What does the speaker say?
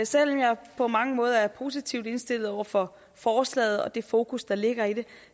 selv om jeg på mange måder er positivt indstillet over for forslaget og det fokus der ligger i det